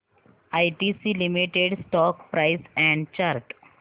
ITC limited stock price and chart